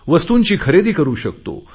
वस्तूची खरेदी करु शकतो